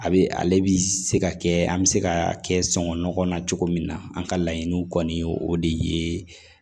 A bɛ ale bi se ka kɛ an be se ka kɛ sɔ nɔgɔ na cogo min na an ka laɲiniw kɔni o de ye